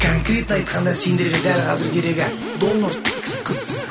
конкретно айтқанда сендерге дәл қазір керегі доллар қыз